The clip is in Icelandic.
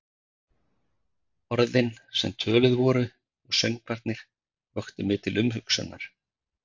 Orðin, sem töluð voru, og söngvarnir, vöktu mig til umhugsunar.